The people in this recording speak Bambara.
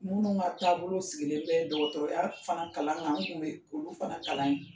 Minnu ka taabolo sigilen bɛ dɔgɔtɔrɔya fana kalan kan, an kun be olu fana kalan